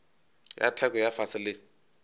ya theko ya fase le